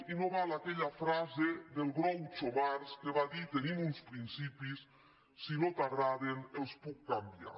i no val aquella frase del groucho marx que va dir tenim uns principis si no t’agraden els puc canviar